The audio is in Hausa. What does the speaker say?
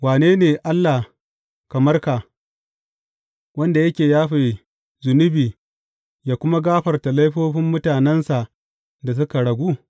Wane ne Allah kamar ka, wanda yake yafe zunubi yă kuma gafarta laifofin mutanensa da suka ragu?